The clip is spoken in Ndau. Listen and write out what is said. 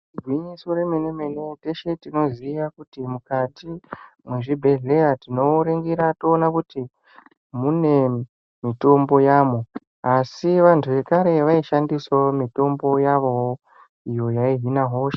Igwinyiso remene-mene teshe tinoziya kuti mukati tinoringira toona kuti mune mitombo yamo. Asi vantu vekare vaishandisavo mitombo yavovo iyo yaihina hosha.